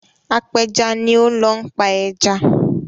Apẹja ni ó ń lọ pa ẹja.